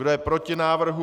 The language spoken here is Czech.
Kdo je proti návrhu?